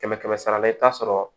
Kɛmɛ kɛmɛ sara la i bɛ taa sɔrɔ